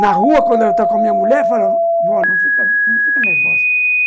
Na rua, quando ela está com a minha mulher, eu falo, vó, não fica não fica nervosa.